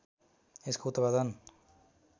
यसको उत्पादन